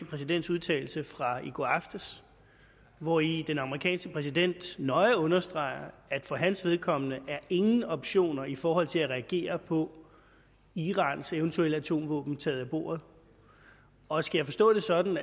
præsidents udtalelse fra i går aftes hvori den amerikanske præsident nøje understreger at for hans vedkommende er ingen optioner i forhold til at reagere på irans eventuelle atomvåben taget af bordet og skal jeg forstå det sådan